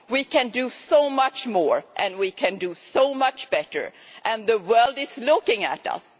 We can do so much more and we can do so much better, and the world is looking at us.